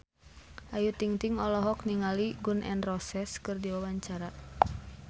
Ayu Ting-ting olohok ningali Gun N Roses keur diwawancara